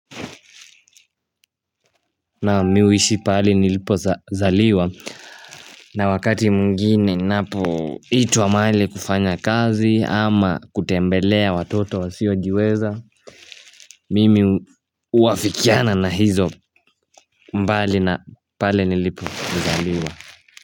Naam mi huishi palinilipozaliwa na wakati mwigine ninapoitwa mahali kufanya kazi ama kutembelea watoto wasiojiweza Mimi uafikiana na hizo mbali na pale nilipozaliwa.